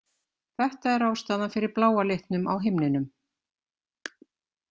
Þetta er ástæðan fyrir bláa litnum á himninum.